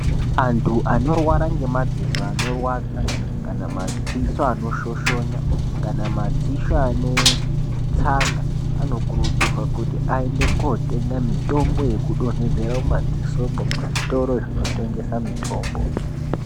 Antu anorwara ngemadziso anorwadza kana madziso anoshoshonya, kana madziso anetsanga, anokurudzirwa kuti aende kootenga mitombo yekudonhedzera mumadziso, muzvitora zvinotengesa mitombo.